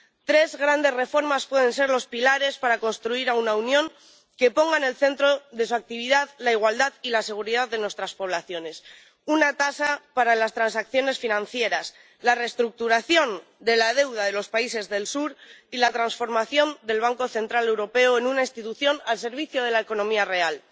Tres grandes reformas pueden ser los pilares para construir una Unión que ponga en el centro de su actividad la igualdad y la seguridad de nuestras poblaciones una tasa para las transacciones financieras, la reestructuración de la deuda de los países del Sur y la transformación del Banco Central Europeo en una institución al servicio de la economía real.